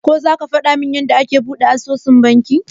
Ko zaka gwadamin yanda ake buɗe asusun banki?